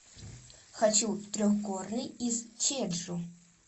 хочу в трехгорный из чеджу